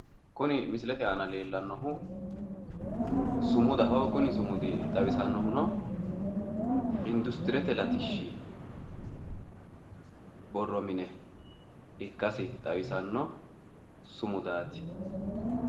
Kuni misilete aana leellannohu sumudaho kuni sumudi xawisannohuno industirete latishi borro mine ikkasi xawisanno sumudaati